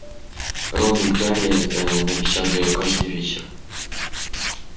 рон и гарри навещали её каждый вечер